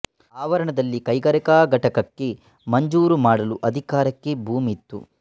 ಆವರಣದಲ್ಲಿ ಕೈಗಾರಿಕಾ ಘಟಕಕ್ಕೆ ಮಂಜೂರು ಮಾಡಲು ಅಧಿಕಾರಕ್ಕೆ ಭೂಮಿ ಇತ್ತು